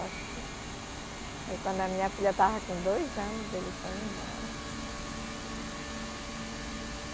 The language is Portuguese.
Aí quando a minha filha estava com dois anos, ele foi embora.